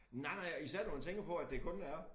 Nej nej og især når man tænker på at det kun er